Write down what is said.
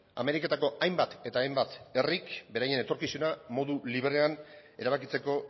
ameriketako hainbat eta hainbat herrik beraien etorkizuna modu librean erabakitzeko